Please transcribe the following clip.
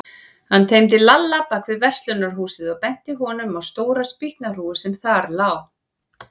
Hann teymdi Lalla bak við verslunarhúsið og benti honum á stóra spýtnahrúgu sem þar lá.